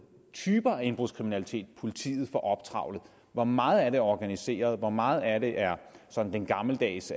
typer af indbrudskriminalitet politiet får optrævlet hvor meget af det er organiseret hvor meget af det er sådan de gammeldags